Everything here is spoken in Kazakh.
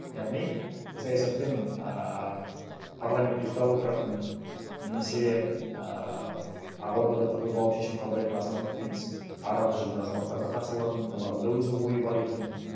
яғни саясатпен ааа парламент ұйықтап отыратын немесе ііі ақ ордада тығылып алып шешім қабылдайтын азаматтар емес арамызда жүрген азаматтар да қатыса алатын олардың да өзінің ойы бар екенін